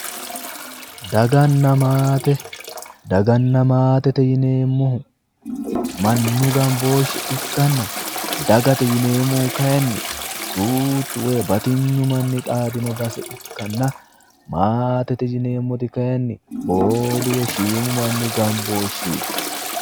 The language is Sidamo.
Daganna maate, daganna maatete yineemmohu manni gambooshshe ikkanna dagate yineemmohu kayiinni duuchu woy batinyu manni xaadino base ikkanna maatete yineemmoti kayiinni boodu woy shiimu manni gambooshsheti.